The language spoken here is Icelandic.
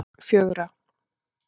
fjögra